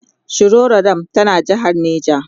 shiroro dam tana jehar neja